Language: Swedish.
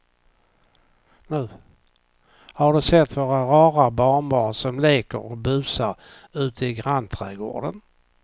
Har du sett våra rara barnbarn som leker och busar ute i grannträdgården!